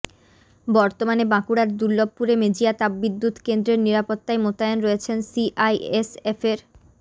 বর্তমানে বাঁকুড়ার দুর্লভপুরে মেজিয়া তাপবিদ্যুৎ কেন্দ্রের নিরাপত্তায় মোতায়েন রয়েছেন সিআইএসএফের